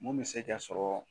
Mun bɛ se ka sɔrɔ